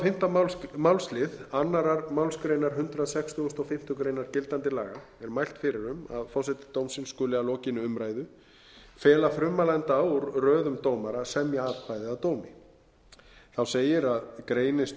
og fimmta málslið annarrar málsgreinar hundrað sextugasta og fimmtu grein gildandi laga er mælt fyrir um að forseti dómsins skuli að lokinni umræðu fela frummælanda úr röðum dómara að semja atkvæði að dómi þá segir að greinist